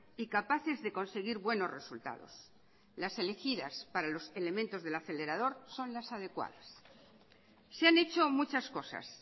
y capaces de conseguir buenos resultados las elegidas para los elementos del acelerador son las adecuadas se han hecho muchas cosas